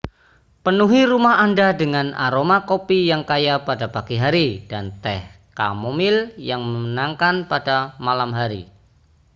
penuhi rumah anda dengan aroma kopi yang kaya pada pagi hari dan teh kamomil yang menenangkan pada malam hari